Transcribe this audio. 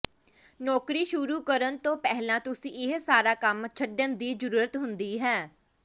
ਨੌਕਰੀ ਸ਼ੁਰੂ ਕਰਨ ਤੋਂ ਪਹਿਲਾਂ ਤੁਸੀਂ ਇਹ ਸਾਰਾ ਕੰਮ ਛੱਡਣ ਦੀ ਜ਼ਰੂਰਤ ਹੁੰਦੀ ਹੈ